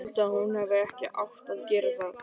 Ég held að hún hefði ekki átt að gera það.